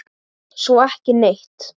Svo ekki neitt.